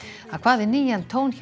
það kvað við nýjan tón hjá